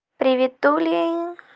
приветули